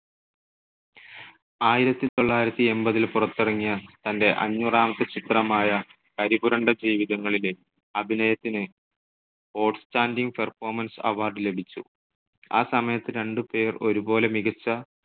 ആയിരത്തി തൊള്ളായിരത്തി എൺപതിൽ പുറത്തിറങ്ങിയ തന്റെ അഞ്ഞൂറാമത്തെ ചിത്രമായ കരിപുരണ്ട ജീവിതങ്ങളിലെ അഭിനയത്തിന് ഔട്ട്സ്റ്റാൻഡിംഗ് പെർഫോമൻസ് award ലഭിച്ചു. ആ സമയത്ത് രണ്ട് പേർ ഒരുപോലെ മികച്ച